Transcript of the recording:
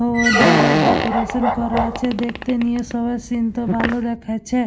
ওধারে ডেকোরেশন করা আছে দেখতে নিয়ে সবাই সিন -ত ভালো দেখাচ্ছে-এ।